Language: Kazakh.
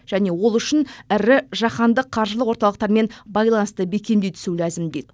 және ол үшін ірі жаһандық қаржылық орталықтармен байланысты бекемдей түсу ләзім дейді